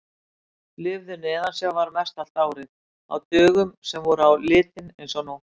Lifðu neðansjávar mestallt árið, á dögum sem voru á litinn eins og nótt!